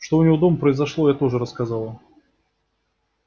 что у него дома произошло я тоже рассказала